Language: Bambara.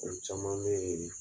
O caman bɛ yen